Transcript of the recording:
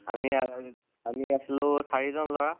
আমি আমি আছিলোঁ চাৰি জন লʼৰা